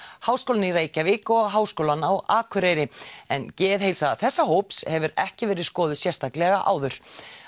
Háskólann í Reykjavík og Háskólann á Akureyri en geðheilsa þessa hóps hefur ekki verið skoðuð sérstaklega áður